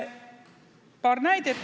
Paar näidet.